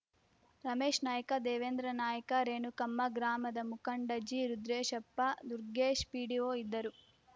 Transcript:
ರಮೇಶ್‌ನಾಯ್ಕ ದೇವೇಂದ್ರನಾಯ್ಕ ರೇಣುಕಮ್ಮ ಗ್ರಾಮದ ಮುಖಂಡ ಜಿರುದ್ರೇಶಪ್ಪ ದುರ್ಗೆಶ್‌ ಪಿಡಿಒ ಇದ್ದರು